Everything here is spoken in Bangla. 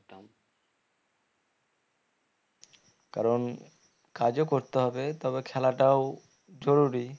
কারণ কাজ ও করতে হবে তবে খেলাটাও জরুরি